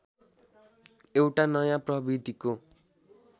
एउटा नयाँ प्रवृत्तिको